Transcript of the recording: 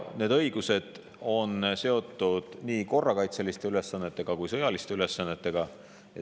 Need õigused on seotud korrakaitseliste ülesannetega ja ka sõjaliste ülesannetega.